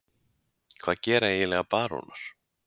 Hvað gera eiginlega barónar?